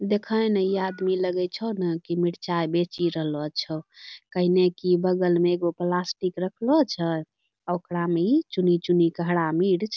देखै ना ई आदमी लगै छो ना की मिरचाय बेची रहलो छौ कैहैनेकी की बगल में एगो प्लास्टिक रखलो छै आ ओकरा मे ई चुनी-चुनी के हरा मिर्च --